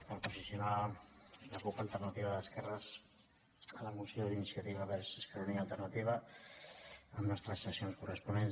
per posicionar la cup alternativa d’esquerres a la moció d’iniciativa verds esquerra unida i alternativa amb les transaccions corresponents